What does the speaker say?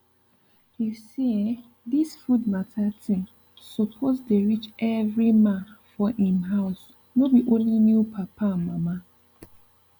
you see eh this food matter thig suppose dey reach every ma for em house no be olny new papa and mama